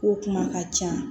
Ko kuma ka ca